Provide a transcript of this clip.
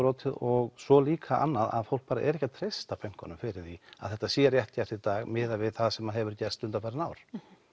brotið og svo líka að fólk er ekki að treysta bönkunum fyrir því að þetta sé rétt gert í dag miðað við það sem hefur gerst undanfarin ár